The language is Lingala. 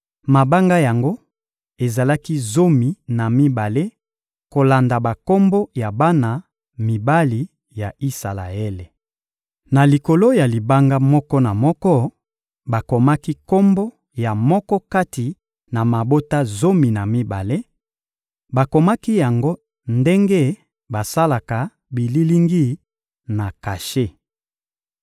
Mabanga yango ezalaki zomi na mibale kolanda bakombo ya bana mibali ya Isalaele. Na likolo ya libanga moko na moko, bakomaki kombo ya moko kati na mabota zomi na mibale; bakomaki yango ndenge basalaka bililingi na kashe.